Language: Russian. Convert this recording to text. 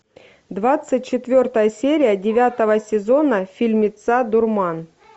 двадцать четвертая серия девятого сезона фильмеца дурман